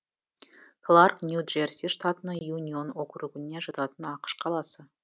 кларк нью джерси штатының юнион округіне жататын ақш қаласы